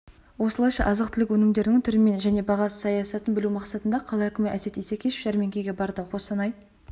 осылайша азық-түлік өнімдерінің түрімен және баға саясатын білу мақсатында қала әкімі әсет исекешев жәрмеңкеге барды қостанай